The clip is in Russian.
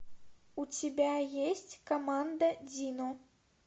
у тебя есть команда дино